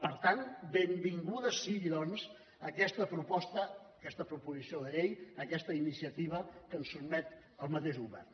per tant benvinguda sigui doncs aquesta proposta aquesta proposició de llei aquesta iniciativa que ens sotmet el mateix govern